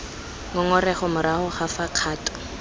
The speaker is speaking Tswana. ngongorego morago ga fa kgato